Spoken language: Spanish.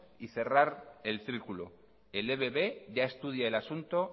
y cerrar el círculo el ebb ya estudia el asunto